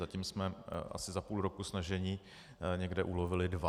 Zatím jsme asi za půl roku snažení někde ulovili dva.